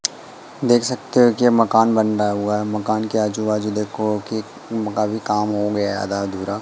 देख सकते हो कि ये मकान बन रहा हुआ मकान के आजू बाजू देखो कि उनका भी काम हो गया आधा अधूरा--